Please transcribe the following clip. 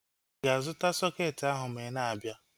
Ịga-azụta sọketi ahu ma ị na-abịa?